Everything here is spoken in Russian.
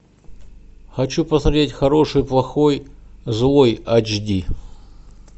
хочу посмотреть хороший плохой злой эйч ди